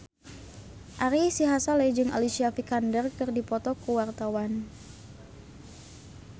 Ari Sihasale jeung Alicia Vikander keur dipoto ku wartawan